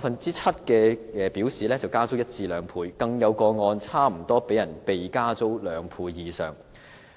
訪者表示加租一倍至兩倍，更有個案差不多被加租兩倍以上。